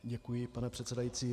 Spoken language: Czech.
Děkuji, pane předsedající.